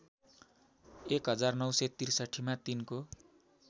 १९६३ मा तिनको